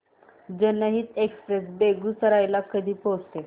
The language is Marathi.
जनहित एक्सप्रेस बेगूसराई ला कधी पोहचते